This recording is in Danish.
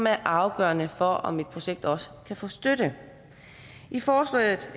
er afgørende for om et projekt også kan få støtte i forslaget